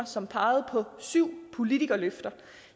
som pegede på syv politikerløfter